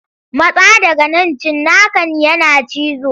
Matsa daga nan cinnakan yana cizo.